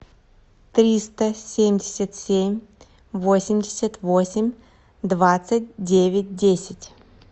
триста семьдесят семь восемьдесят восемь двадцать девять десять